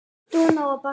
Dúna og Barði.